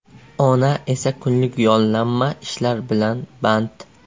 Ona esa kunlik yollanma ishlar bilan band.